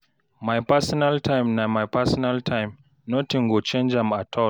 my personal time na my personal time, notin go change am at all